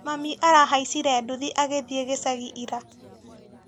Mami arahaicire nduthi agĩthĩ gicagi ira.